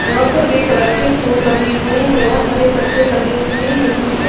और सफेद कलर के फूल लगे हुएं है और हरे पत्ते लगे हुए हैं नीचे--